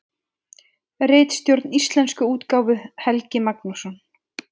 Ritstjórn íslensku útgáfu: Helgi Magnússon.